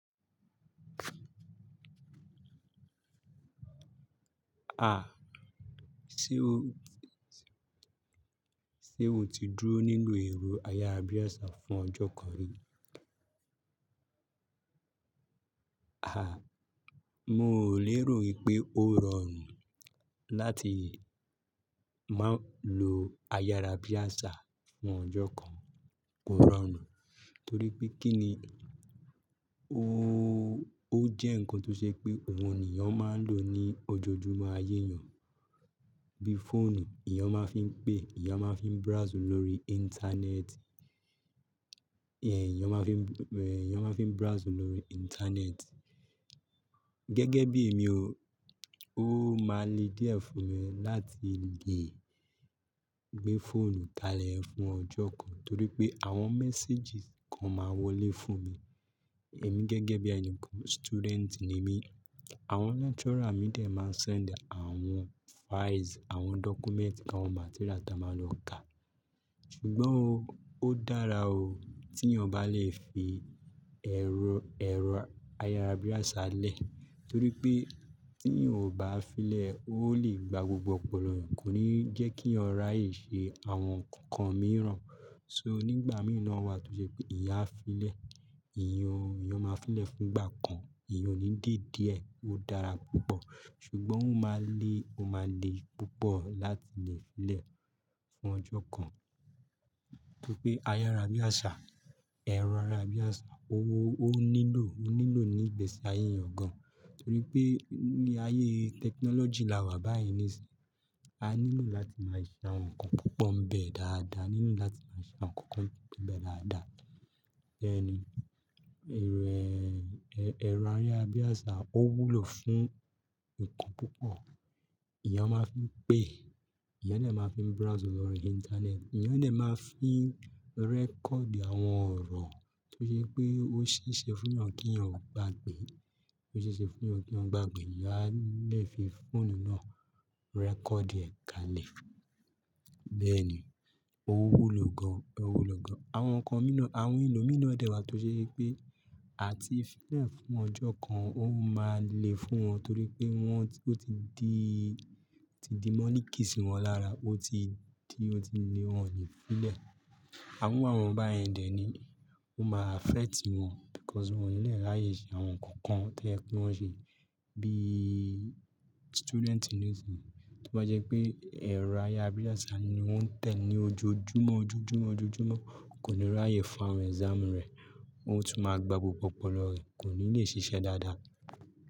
A! Sé o, sé o ti dúró nínú ẹ̀rọ ayárabíàṣá fún ọjọ́ kan rí? A! Mo o lè rò wípé ó rọrùn láti má lo ayárabíàṣá fún ọjọ́ kan. Kò rọrùn, torí pé kí ni ó jẹ́ ǹkan tó ṣe pé òun nìyẹn máa ń lò ní ojoojúmọ́ ayé èèyàn. Bí fóònù, èèyàn máa ń fi ń pè, èèyàn máa ń fi ń browse lórí íńtánẹ́ẹ̀tì. Ẹ̀yàn máa ń fi browse lórí íńtánẹ́ẹ̀tì. Gẹ́gẹ́ bí èmi ò, ó máa le díẹ̀ fún mi láti lè gbé fóònù kalẹ̀ fún ọjọ́ kan, torí pé àwọn messages kan máa wọlé fún mi. Ẹ̀mi gẹ́gẹ́ bí ènikàn, student ni mí. Àwọn lecturer mi dẹ̀ máa send àwọn files, àwọn documents, àwọn materials tí a máa lò ká. Ṣùgbọ́n ó dára o tí yàn bá lè fi ẹ̀rọ ayárabíàṣá lẹ̀, torí pé tí yàn ò bá fi lẹ̀ ó lè gba gbogbo ọpọlọ yan. Kò ní jẹ́ kí yàn ráyè ṣe àwọn nǹkan kan mìíràn. So nígbà mìí na wà tó ṣe pé ìyán a fi lẹ̀, èèyàn máa fi lẹ̀ fún ìgbà kan, èèyàn ò ní dé díẹ̀, ó dára púpọ̀. Ṣùgbọ́n ó máa le púpọ̀ láti lè fi lẹ̀ fún ọjọ́ kan. Torí pé ayárabíàṣá, ẹ̀rọ ayárabíàṣá ó nílò nígbẹ́ sí ayé èyàn gan. Torí pé ní ayé technology la wà báyìí nísin, a nílò láti máa ṣe àwọn nǹkan púpọ̀ ń bẹ dáadáa, a nílò láti máa ṣe àwọn nǹkan tó po n bẹ dáadáa. Bẹ́ẹ̀ ni ẹ̀rọ ayárabíàṣá ó wúlò fún nǹkan púpọ̀. Ẹ̀èyàn máa ń fi ń pè, ẹ̀yẹn lè máa fi browse lórí íńtánẹ́ẹ̀tì, ẹ̀yẹn lè máa fi record àwọn ọ̀rọ̀ tó ṣe wípé ó ṣeéṣe fún èèyàn kí yàn ò gbàgbé. Ó ṣeéṣe fún yàn kí yann gbàgbé, èèyán a lè fi fóònù náà record ẹ̀ ka lẹ̀. Bẹ́ẹ̀ ni ó wúlò gan. Àwọn ǹkan mi náà, àwọn èlò mìí náà dẹ̀ wà tó ṣe wípé à ti fi lẹ̀ fún ọjọ́ kan, ó máa le fún wọn torí pé wọ́n ò ti di, ó ti di moniki sí wọn lára, ó ti di ó tí ni wọ́n ò lè fi lẹ̀. Irú àwọn báyẹn dẹ̀ ní, ó máa affect wọ́n because wọ́n ò nílẹ̀ ráyè ṣe àwọn nǹkan kan tí ó yẹ kí wọ́n ṣe. Bí student nísin, tí ó bá jẹ́ pé ẹ̀rọ ayárabíàṣá ni wọ́n ń tẹ̀ ní ojoojúmọ́, ojoojúmọ́, ojoojúmọ́ kò ní ráyè fún àwọn exam rẹ̀, ó tún máa gba gbogbo ọpọlọ rẹ̀, kò ní le ṣiṣẹ́ dáadáa.